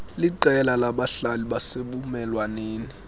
liqela labahlali basebumelwaneni